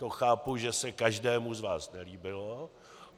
To chápu, že se každému z vás nelíbilo.